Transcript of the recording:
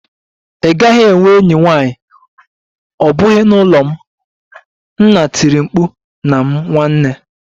Ị gaghị enwe enyi nwanyị, ọ bụghị n'ụlọ m! Nna tiri mkpu na m nwanne